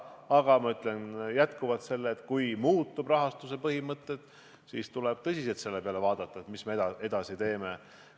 Aga ma ütlen veel kord, et kui muutuvad rahastuse põhimõtted, siis tuleb tõsiselt järele mõelda, mida me edasi teeme.